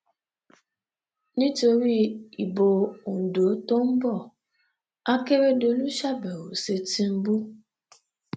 nítorí ìbò ondo tó ń bo àkèrèdòlù ṣàbẹwò sí tìǹbù